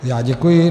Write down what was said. Já děkuji.